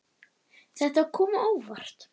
Þetta kom mjög á óvart.